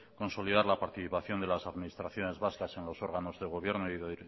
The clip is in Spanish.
consolidar la participación de las administraciones vascas en los órganos que gobierne y de